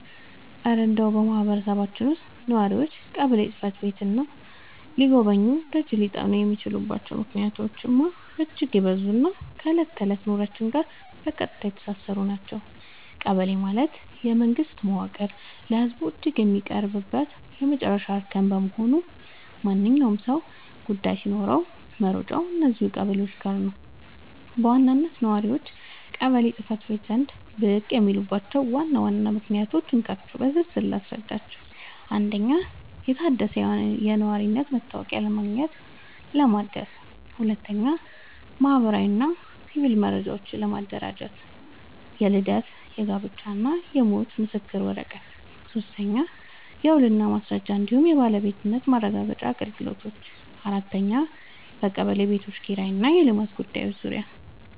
እረ እንደው በማህበረሰባችን ውስጥ ነዋሪዎች ቀበሌ ጽሕፈት ቤትን ሊጎበኙና ደጅ ሊጠኑ የሚችሉባቸው ምክንያቶችማ እጅግ የበዙና ከዕለት ተዕለት ኑሯችን ጋር በቀጥታ የተሳሰሩ ናቸው! ቀበሌ ማለት የመንግስት መዋቅር ለህዝቡ እጅግ የሚቀርብበት የመጨረሻው እርከን በመሆኑ፣ ማንኛውም ሰው ጉዳይ ሲኖረው መሮጫው እዚያው ቀበሌው ጋ ነው። በዋናነት ነዋሪዎች ቀበሌ ጽ/ቤት ዘንድ ብቅ የሚሉባቸውን ዋና ዋና ምክንያቶች እንካችሁ በዝርዝር ልንገራችሁ፦ 1. የታደሰ የነዋሪነት መታወቂያ ለማግኘትና ለማደስ 2. ማህበራዊና ሲቪል መረጃዎችን ለማደራጀት (የልደት፣ የጋብቻና የሞት ምስክር ወረቀት) 3. የውልና ማስረጃ እንዲሁም የባለቤትነት ማረጋገጫ አገልግሎቶች 4. የቀበሌ ቤቶች ኪራይና የልማት ጉዳዮች